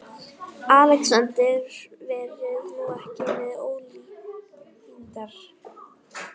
Hemmi er að aka út vörum fyrir heildsöluna.